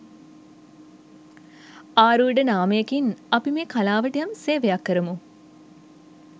ආරූඪ නාමයකින් අපි මේ කලාවට යම් සේවයක් කරමු.